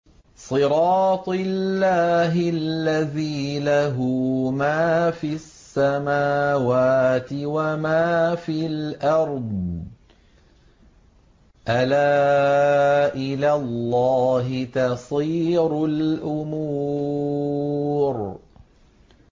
صِرَاطِ اللَّهِ الَّذِي لَهُ مَا فِي السَّمَاوَاتِ وَمَا فِي الْأَرْضِ ۗ أَلَا إِلَى اللَّهِ تَصِيرُ الْأُمُورُ